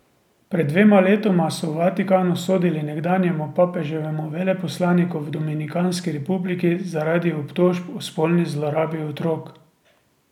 Pred dvema letoma so v Vatikanu sodili nekdanjemu papeževemu veleposlaniku v Dominikanski republiki zaradi obtožb o spolni zlorabi otrok.